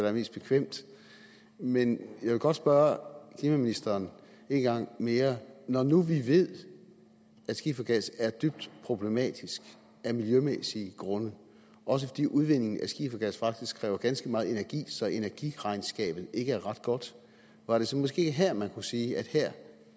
er mest bekvemt men jeg vil godt spørge klimaministeren en gang mere når nu vi ved at skiffergas er dybt problematisk af miljømæssige grunde også fordi udvindingen af skiffergas faktisk kræver ganske meget energi så energiregnskabet ikke er ret godt var det så måske her man kunne sige at her